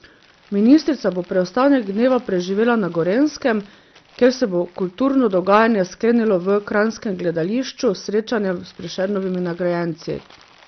Ministrica bo preostanek dneva preživela na Gorenjskem, kjer se bo kulturno dogajanje sklenilo v kranjskem gledališču s srečanjem s Prešernovimi nagrajenci.